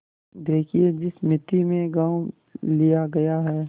देखिए जिस मिती में गॉँव लिया गया है